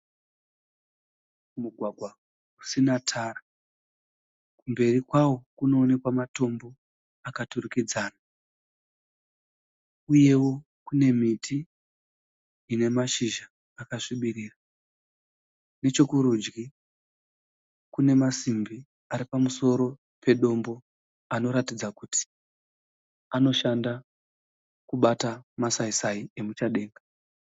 Mugwagwa usina Tara. mberi kwawo kunoonekwa matombo akaturikidzana uyewo kune miti ine mashizha akasvibirira nechekurudyi kune masimbi ari pamusoro pedombo anoratidza kuti anoshanda kubata masai Sai emuchadenga